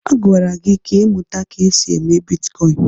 Agwara gị ka ịmụta ka esi eme bitkọịn!